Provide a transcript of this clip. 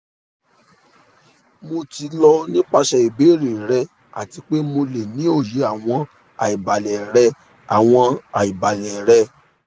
mo ti lọ nipasẹ ibeere rẹ ati pe mo le ni oye awọn aibalẹ rẹ awọn aibalẹ rẹ